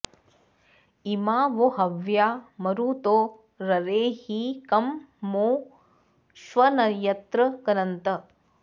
इमा वो हव्या मरुतो ररे हि कं मो ष्वन्यत्र गन्तन